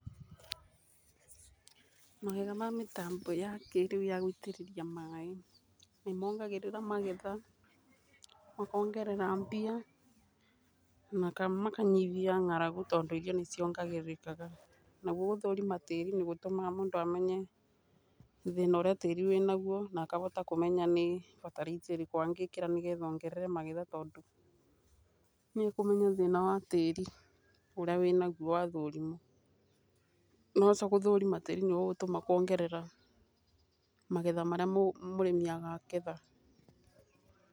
Magetha ma mĩtambo ya kíĩrĩu ya gũitĩrĩria maaĩ, nĩ mongagĩrĩra magetha, makongerera mbia, na makanyihia ng'aragu tondũ irio nĩ ciongarĩkaga. Naguo gũthũrima tĩri nĩ gũtũmaga mũndũ amenye thĩna ũrĩa tĩri wĩ naguo na akahota kũmenya nĩ bataraitha ĩrĩkũ angĩkĩra nĩ getha ongerere magetha tondũ, nĩ akũmenya thina wa tĩri ũrĩa wĩ naguo wathũrimwo. Wahota gũthũrima tĩri, nĩ ũgũtũma kuongerea, magetha marĩa mũrĩmi akagetha.